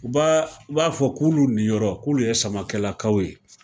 U b'a u b'a fɔ k'olu nin yɔrɔ, k'olu ye Samakɛlakaw ye!